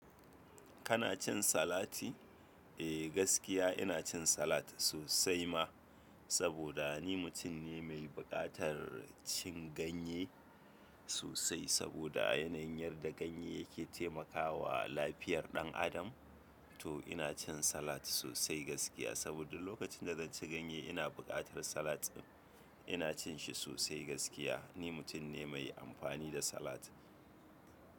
Kana cin salati? Eh gaskiya ina cin salat sosai ma saboda ni mutum ne mai buƙatar cin ganye sosai. Saboda yanayin yarda ganye yake taimakawa lafiyar ɗan adam. To ina cin salat sosai gaskiya saboda lokacin da zan ci ganye ina buƙatar salat ɗin, ina cin shi sosai gaskiya. Ni mutum ne mai amfani da salat.